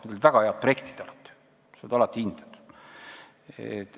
Neil olid väga head projektid, mis alati kinnitati.